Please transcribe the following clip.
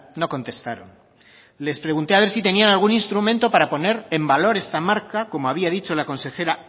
no contestaron les pregunté a ver si tenían algún instrumento para poner en valor esta marca como había dicho la consejera